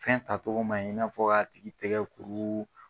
Fɛnta togo man ɲi i n'a fɔ k'a tigi tɛgɛ kuru.